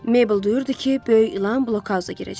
Mabel duyurdu ki, böyük ilan blokhausa girəcək.